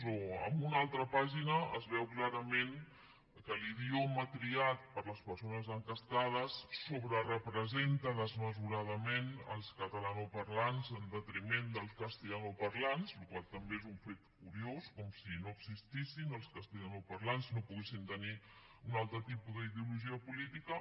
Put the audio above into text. o en una altra pàgina es veu clarament que l’idioma triat per les persones enquestades sobrerepresenta desmesuradament els catalanoparlants en detriment dels castellanoparlants cosa que també és un fet curiós com si no existissin els castellanoparlants i no poguessin tenir un altre tipus d’ideologia política